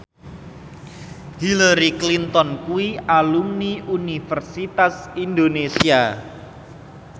Hillary Clinton kuwi alumni Universitas Indonesia